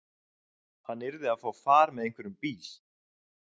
Hann yrði að fá far með einhverjum bíl.